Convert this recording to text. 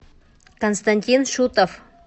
константин шутов